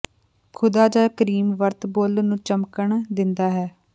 ਖ਼ੁਦਾ ਜ ਕਰੀਮ ਵਰਤ ਬੁੱਲ੍ਹ ਨੂੰ ਚਮਕਣ ਦਿੰਦਾ ਹੈ